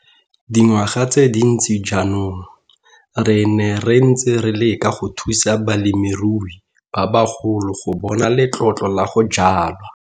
Dingwaga tse dintsi jaanong, re ne re ntse re leka go thusa balemirui ba bagolo go bona letlotlo la go jwala.